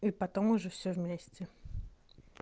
и потом уже всё вместе